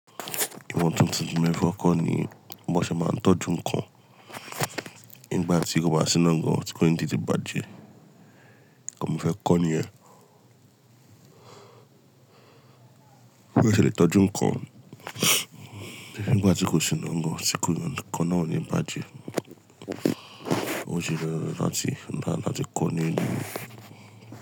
Ìwọ̀n tuntun tí mo fẹ́ kọ́ ni bí mo ṣe máa ń tọ́jú nǹkan nígbà tí kò bá sí nínú ọ̀gàn, tí kò yéń tí í bàjẹ́. Ǹkan mo fẹ́ kọ́ ní è. Bí mo ṣe lè tọ́jú nǹkan nígbà tí kò sí nínú ọ̀gàn, tí kò yéń tí kọ́ náà ò ní bàjẹ́. Ó jí lọ́wọ́ láti nbá máti kọ́ ní ìlú.